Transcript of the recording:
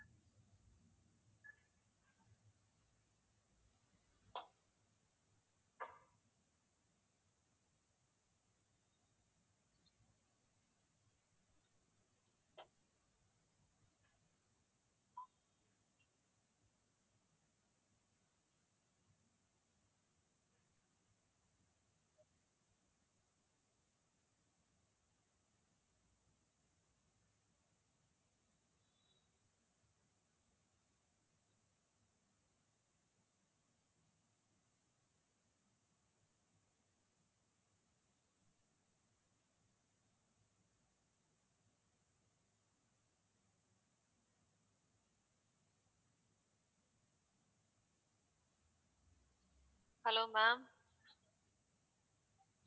hello maam